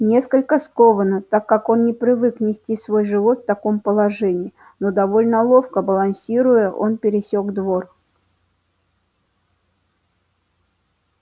несколько скованно так как он не привык нести свой живот в таком положении но довольно ловко балансируя он пересёк двор